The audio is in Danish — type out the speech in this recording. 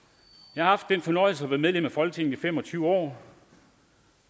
jeg har haft den fornøjelse at være medlem af folketinget i fem og tyve år